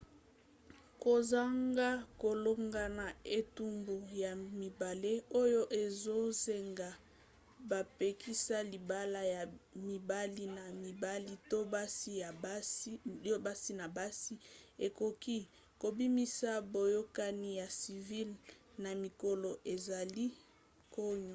kozanga kolonga ya etumbu ya mibale oyo ezosenga bapekisa libala ya mibali na mibali to basi na basi ekoki kobimisa boyokani ya civile na mikolo ezali koya